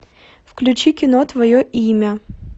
включи кино твое имя